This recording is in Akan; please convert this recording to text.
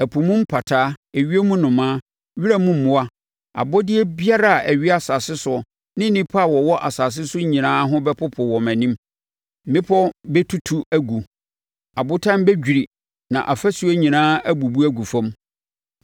Ɛpo mu mpataa, ewiem nnomaa, wiram mmoa, abɔdeɛ biara a ɛwea asase soɔ ne nnipa a wɔwɔ asase so nyinaa ho bɛpopo wɔ mʼanim. Mmepɔ bɛtutu agu, abotan bɛdwiri na afasuo nyinaa abubu agu fam.